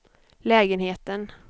lägenheten